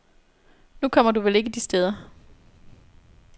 Nu kommer du vel ikke de steder.